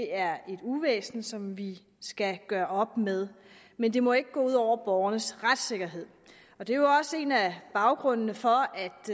er et uvæsen som vi skal gøre op med men det må ikke gå ud over borgernes retssikkerhed det er jo også en af baggrundene for